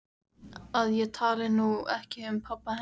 Að ég tali nú ekki um pabba hennar.